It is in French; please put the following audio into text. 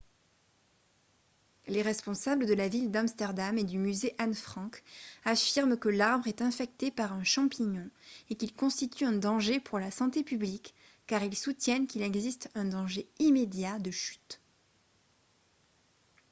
les responsables de la ville d'amsterdam et du musée anne frank affirment que l'arbre est infecté par un champignon et qu'il constitue un danger pour la santé publique car ils soutiennent qu'il existe un danger immédiat de chute